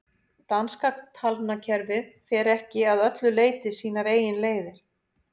danska talnakerfið fer ekki að öllu leyti sínar eigin leiðir